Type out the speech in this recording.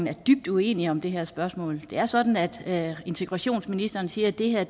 er dybt uenige om det her spørgsmål det er sådan at integrationsministeren siger at det her